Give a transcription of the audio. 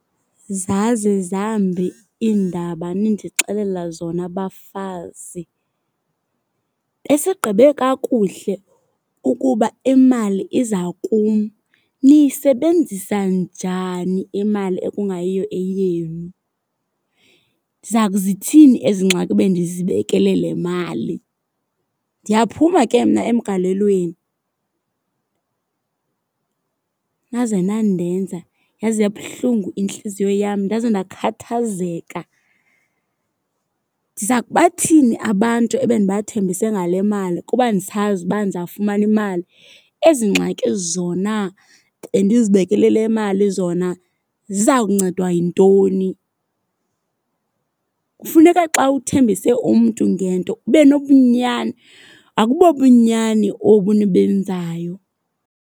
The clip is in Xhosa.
Zaze zambi iindaba nindixelele zona, bafazi. Besigqibe kakuhle ukuba imali iza kum. Niyisebenzisa njani imali ekungayiyo eyenu? Ndiza kuzithini ezi ngxaki bendizibekele le mali? Ndiyaphuma ke mna emgalelweni. Naze nandenza, yaze yabuhlungu intliziyo yam, ndaze ndakhathazeka. Ndiza kubathini abantu ebendibathembise ngale mali kuba ndisazi uba ndizawufumana imali? Ezi ngxaki zona bendizibekele le mali zona ziza kuncedwa yintoni? Kufuneka xa uthembise umntu ngento ube nobunyani, akubobunyani obu nibenzayo.